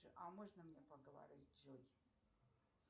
а можно мне поговорить с джой